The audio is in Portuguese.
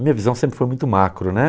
Minha visão sempre foi muito macro, né?